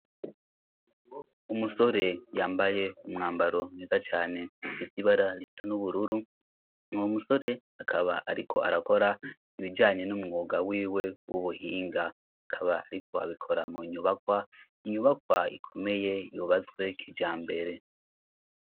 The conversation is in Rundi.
Umusore yambaye umwambaro mwiza cane ufise ibara risa n'ubururu, ni umusore akaba ariko arakora ibijanye n'umwuga wiwe w'ubuhinga, akaba ariko abikora mu nyubakwa inyubakwa ikomeye yubatswe kijambere.